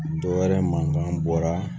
Dɔ wɛrɛ mankan bɔra